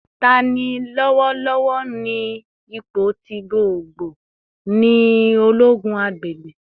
Tani lọwọlọwọ ni ipo ti gbogbogbo ni ologun agbegbe?